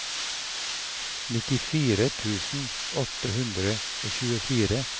nittifire tusen åtte hundre og tjuefire